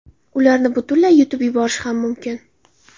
Ularni butunlay yutib yuborish ham mumkin.